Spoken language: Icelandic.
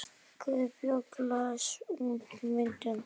Guðbjörg, læstu útidyrunum.